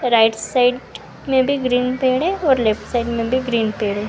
Right side मे भी green पेड़े और लेफ्ट साइड मे भी ग्रीन पेड़े है।